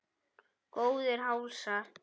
Góðir hálsar!